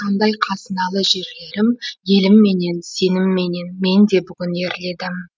қандай қазыналы жерлерім елімменен сенімменен мен де бүгін ерледім